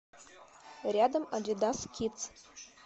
рядом адидас кидс